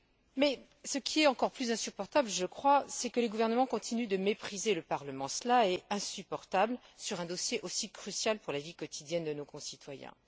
Mais ce qui est encore plus insupportable, je crois, c'est que les gouvernements continuent de mépriser le Parlement c'est inacceptable sur un dossier aussi crucial pour la vie quotidienne de nos concitoyens.